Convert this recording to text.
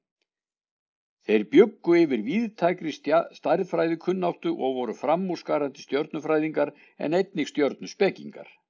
Þeir bjuggu yfir víðtækri stærðfræðikunnáttu og voru framúrskarandi stjörnufræðingar en einnig stjörnuspekingar.